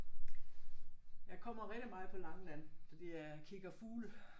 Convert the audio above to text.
Jeg kommer rigtig meget på Langeland fordi at jeg kigger fugle